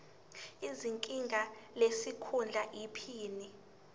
izinga lesikhundla iphini